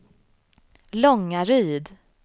Långaryd